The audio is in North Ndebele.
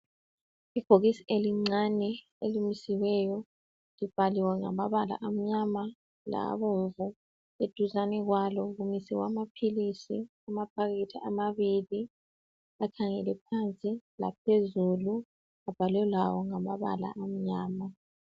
Ibhokisi elincane elimisiweyo, libhaliwe ngamabala amnyama labomvu, eduzane kwalo kumiswe amaphilisi , amaphakethe amabili, akhangele phansi, laphezulu, ebhalwe lawo ngamabala amnyama